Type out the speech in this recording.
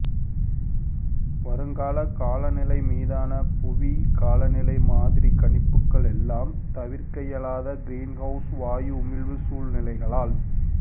வருங்கால காலநிலை மீதான புவி காலநிலை மாதிரி கணிப்புகள் எல்லாம் தவிர்க்கவியலாத கிரீன்ஹவுஸ் வாயு உமிழ்வு சூழ்நிலைகளால்